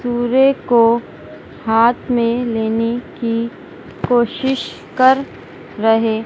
तुरे को हाथ में लेने की कोशिश कर रहे--